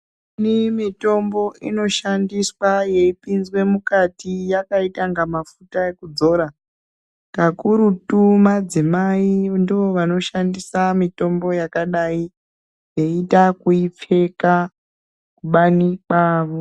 Imweni mitombo inoshandiswa yeipinzwe mukati, yakaita inga mafuta ekudzora. Kakurutu madzimayi ndoovanoshandisa mitombo yakadai, veiita ekuipfeka kubani kwavo.